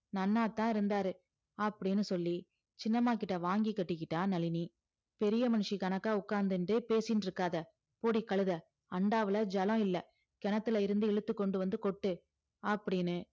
நன்னாதான் இருந்தாரு அப்படின்னு சொல்லி சின்னம்மாகிட்ட வாங்கி கட்டிக்கிட்டா நளினி பெரிய மனுஷி கணக்கா உட்கார்ந்துண்டு பேசிண்டு இருக்காத போடி கழுதை அண்டாவுல ஜலம் இல்ல கிணத்துல இருந்து இழுத்து கொண்டு வந்து கொட்டு அப்படின்னு